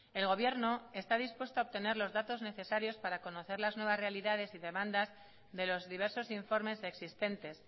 el gobierno está dispuesto a obtener los datos necesarios para conocer las nuevas realidades y demandas de los diversos informes existentes